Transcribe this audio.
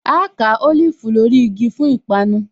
Áá ká Olifu lórí igi fún ìpanu